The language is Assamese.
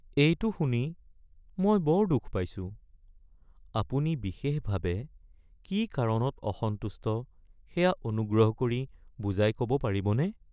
এইটো শুনি মই বৰ দুখ পাইছোঁ। আপুনি বিশেষভাৱে কি কাৰণত অসন্তুষ্ট সেয়া অনুগ্ৰহ কৰি বুজাই ক’ব পাৰিবনে?